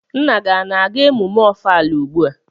Nna gi a-na aga emume Ọfala ugbua?